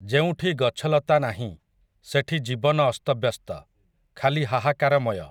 ଯେଉଁଠି ଗଛଲତା ନାହିଁ, ସେଠି ଜୀବନ ଅସ୍ତବ୍ୟସ୍ତ, ଖାଲି ହାହାକାରମୟ ।